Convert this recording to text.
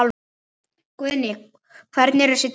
Guðný: Hvernig eru þessi dýr?